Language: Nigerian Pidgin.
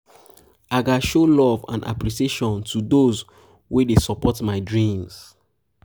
i gats show love and appreciation to those wey dey support my dreams.